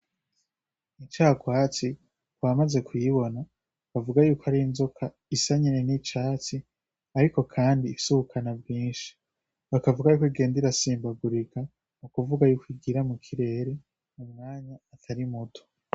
Incagwatsi kubamaze kuyibona bavuga yuko ari inzoka isa nyene n'icatsi, ariko kandi ifise ubumara bwinshi. Bakavugako igenda irasimbagurika nukuvuga yuko igira mu kirere umwanya utari muto.